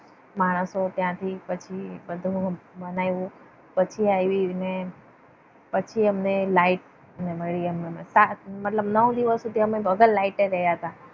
માણસો ત્યાંથી પછી બધું બનાવ્યું. પછી આવીને પછી અમને લાઈટ મળી અમને મતલબ નવ દિવસ સુધી અમે વગર લાઈટ રહ્યા હતા.